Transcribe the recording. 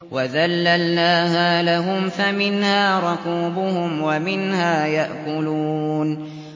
وَذَلَّلْنَاهَا لَهُمْ فَمِنْهَا رَكُوبُهُمْ وَمِنْهَا يَأْكُلُونَ